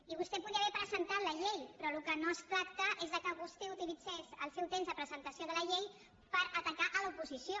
i vostè podria haver presentat la llei però del que no es tracta és que vostè utilitzés el seu temps de presentació de la llei per atacar l’oposició